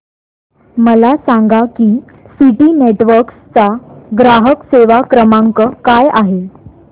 मला सांगा की सिटी नेटवर्क्स चा ग्राहक सेवा क्रमांक काय आहे